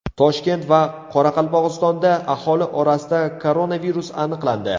Toshkent va Qoraqalpog‘istonda aholi orasida koronavirus aniqlandi.